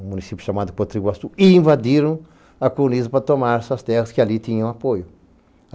um município chamado Potriguastu, e invadiram a counisa para tomar essas terras que ali tinham apoio.